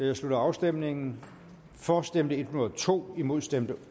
jeg slutter afstemningen for stemte en hundrede og to imod stemte